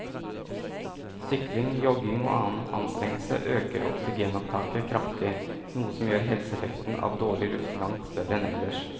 Sykling, jogging og annen anstrengelse øker oksygenopptaket kraftig, noe som gjør helseeffekten av dårlig luft langt større enn ellers.